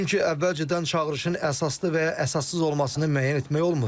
Çünki əvvəlcədən çağırışın əsaslı və ya əsassız olmasını müəyyən etmək olmur.